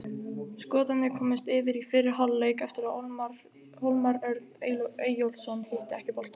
Skotarnir komust yfir í fyrri hálfleik eftir að Hólmar Örn Eyjólfsson hitti ekki boltann.